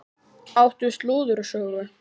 Áttu slúðursögu?